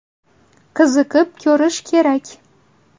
Qiziqib ko‘rish kerak.